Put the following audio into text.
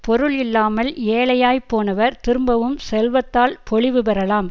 பொருள் இல்லாமல் ஏழையாய்ப் போனவர் திரும்பவும் செல்வத்தால் பொலிவு பெறலாம்